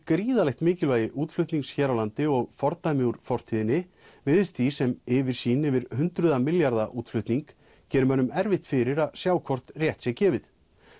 gríðarlegt mikilvægi útflutnings hér á landi og fordæmi úr fortíðinni virðist því sem yfirsýn yfir hundruða milljarða útflutning geri mönnum erfitt fyrir að sjá hvort rétt sé gefið